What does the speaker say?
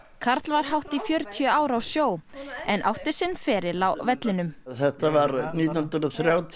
karl var hátt í fjörtíu ár á sjó en átti sinn feril á vellinum þetta var nítján hundruð þrjátíu